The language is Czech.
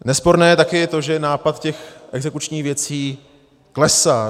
Nesporné je taky to, že nápad těch exekučních věcí klesá.